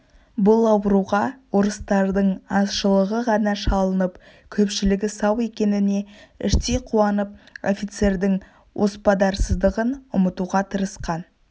бұл ауруға орыстардың азшылығы ғана шалынып көпшілігі сау екеніне іштей қуанып офицердің оспадарсыздығын ұмытуға тырысқан